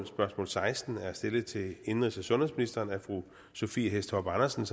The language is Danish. spørgsmål seksten er stillet til indenrigs og sundhedsministeren af fru sophie hæstorp andersen